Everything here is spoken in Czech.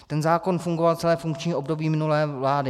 Ten zákon fungoval celé funkční období minulé vlády.